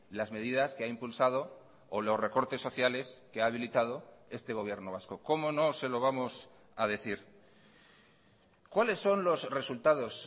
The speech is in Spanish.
las medidas que ha impulsado o los recortes sociales que ha habilitado este gobierno vasco cómo no se lo vamos a decir cuáles son los resultados